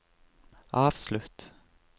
avslutt